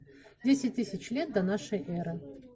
десять тысяч лет до нашей эры